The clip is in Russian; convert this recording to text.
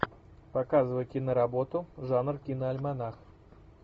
показывай киноработу жанр киноальманах